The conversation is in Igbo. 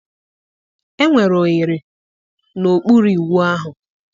Enwere oghere n'okpuru ịwụ ahụ